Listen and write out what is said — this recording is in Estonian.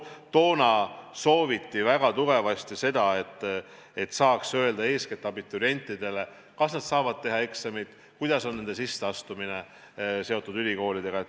Toona sooviti väga tugevasti seda, et saaks öelda eeskätt abiturientidele, kas nad saavad teha eksameid, kuidas toimub sisseastumine ülikoolidesse.